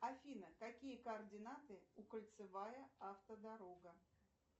афина какие координаты у кольцевая автодорога